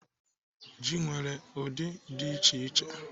Ji nwere ụdị dị iche iche.